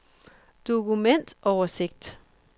dokumentoversigt